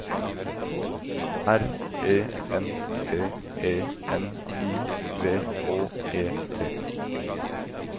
R E N T E N I V Å E T